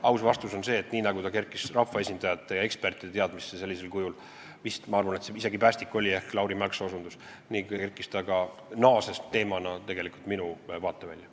Aga aus vastus on see, et nii nagu ta sellisel kujul kerkis rahvaesindajate ja ekspertide teadmisesse, kui päästik oli vist, ma arvan, Lauri Mälksoo osutus, nii naasis ta teemana ka minu vaatevälja.